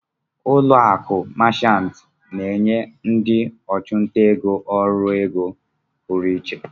ụlọ akụ Machant na-enye ndị ọchụnta ego ọrụ ego pụrụ iche.